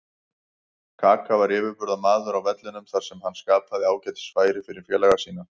Kaka var yfirburðamaður á vellinum þar sem hann skapaði ágætis færi fyrir félaga sína.